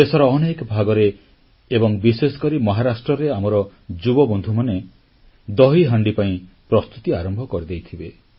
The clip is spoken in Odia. ଦେଶର ଅନେକ ଭାଗରେ ଏବଂ ବିଶେଷକରି ମହାରାଷ୍ଟ୍ରରେ ଆମର ଯୁବବନ୍ଧୁମାନେ ଦହିହାଣ୍ଡି ପାଇଁ ପ୍ରସ୍ତୁତି ଆରମ୍ଭ କରିଦେଇଥିବେ